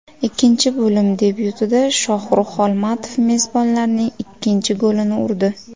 Ikkinchi bo‘lim debyutida Shohrux Xolmatov mezbonlarning ikkinchi golini urdi.